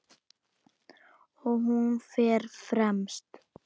Og hún fer fremst.